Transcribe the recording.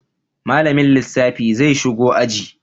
Malamin lissafi zai shigo aji.